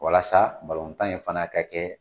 Walasa balontan in fana ka kɛ